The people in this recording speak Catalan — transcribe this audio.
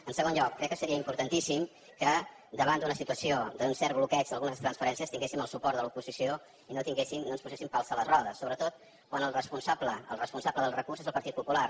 en segon lloc crec que seria importantíssim que davant d’una situació d’un cert bloqueig d’algunes transferències tinguéssim el suport de l’oposició i no ens posessin pals a les rodes sobretot quan el responsable del recurs és el partit popular